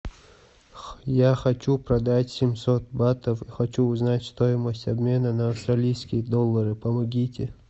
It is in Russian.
я хочу продать семьсот батов хочу узнать стоимость обмена на австралийские доллары помогите